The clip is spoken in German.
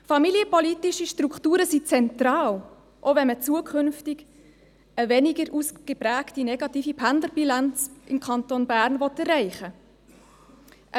Familienpolitische Strukturen sind zentral, auch wenn man zukünftig eine weniger ausgeprägt negative Pendlerbilanz im Kanton Bern erreichen will.